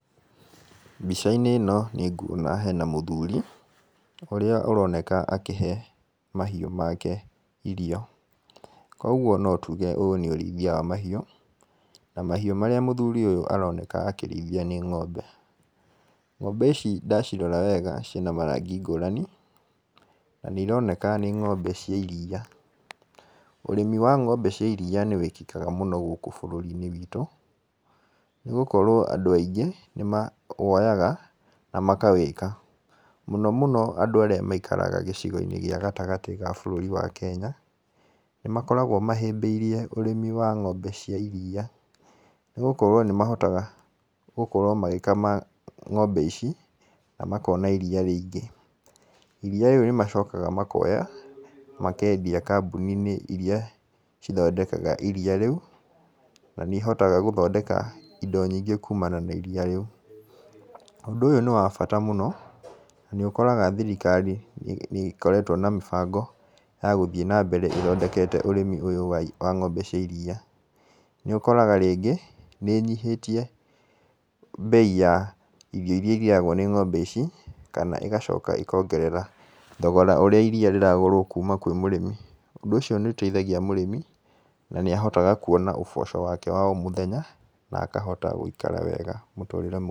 Mbica-inĩ ĩno nĩ nguona hena mũthuri, ũrĩa ũroneka akĩhe mahiũ make irio. Koguo no tuge ũyũ nĩ ũrĩithia wa mahiũ, na mahiũ marĩa mũthuri ũyũ aroneka akĩrĩithia nĩ ng'ombe. Ng'ombe ici ndacirora wega ciĩna marangi ngũrani, na nĩ ironeka nĩ ng'ombe cia iria. Ũrĩmi wa ng'ombe cia iria nĩ wĩkĩkaga mũno gũkũ bũrũri-inĩ witũ, nĩ gũkorwo andũ aingĩ nĩ mawoyaga na makawĩka. Mũno mũno arĩa maikaraga gĩcigo-inĩ gĩa gatagatĩ wa bũrũri wa Kenya. Nĩ makoragwo mahĩmbĩirie ũrĩmi wa ng'ombe cia iria, nĩ gũkorwo nĩ mahotaga gũkorwo magĩkama ng'ombe ici na makona iria rĩingĩ. Iria rĩu nĩ macokaga makoya makendia kambuni-inĩ irĩa cithondekaga iria rĩu na nĩ ihotaga gũthondeka indo nyingĩ kumana na iria rĩu. Ũndũ ũyũ nĩ wa bata mũno na nĩ ũkoraga thirikari nĩ ĩkoretwo na mĩbango ya gũthiĩ na mbere ĩthondekete ũrĩmi ũyũ wa ng'ombe cia iria. Nĩ ũkoraga rĩngĩ, nĩ ĩnyihĩtie mbei ya irio irĩa irĩagwo nĩ ng'ombe ici, kana ĩgacoka ĩkongerera thogora ũrĩa iria rĩragũrwo kuma kũrĩ mũrĩmi. Ũndũ ũcio nĩ ũteithagia mũrĩmi, na akahota kuona ũboco wake wa o mũthenya, na akahota gũikara wega mũtũrĩre mwega.